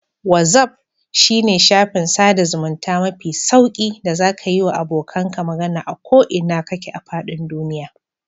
Wazaf shine shafin sada zamunta mafi sauƙi da zaka yiwa abokanka magana a ko ina kake a fadin duniya.